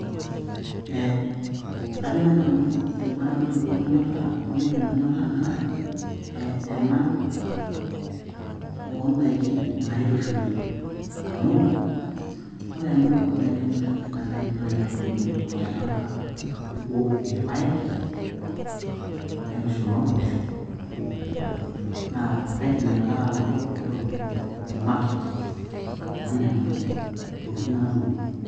Ee kajo naaji Nanu ebarakinoto nanyorraa eunore nanyorraa naa aa ena oodaiki naitushuli, amu ore ena oo daiki naitushuli naa kaidim naaji atuuno tolchampa obo irpaek, naitushul ompooshok, naa kaidim Ina Kata anoto entoki emaket oo Nena daiki natuuno.